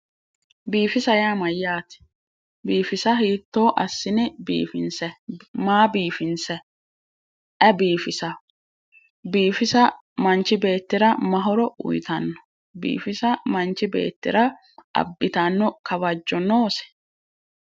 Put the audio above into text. Biifisa yaa myyaate? Biifisa hiitto assine biifinsayi? Maa biifinsayi ayi biifisawo? Biifisa manchi beettira ma horo uyitawo biifisa. manchi beettira abitanno kawajjo noose?